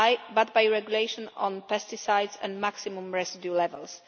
but by the Regulation on Pesticides and Maximum Residue Levels.